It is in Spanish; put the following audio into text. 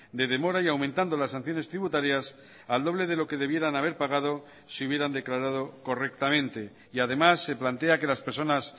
de demora y aumentando las sanciones tributarias al doble de lo que debieran haber pagado si hubieran declarado correctamente y además se plantea que las personas